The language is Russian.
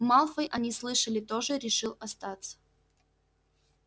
малфой они слышали тоже решил остаться